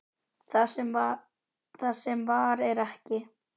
Það sem var er ekki.